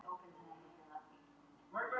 Við erum mjög ánægðir með að hafa fengið hann.